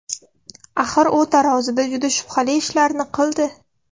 Axir u tarozida juda shubhali ishlarni qildi.